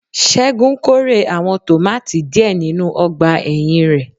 Segun kórè àwọn tòmátì díẹ̀ nínú ọgbà ẹ̀yìn rẹ̀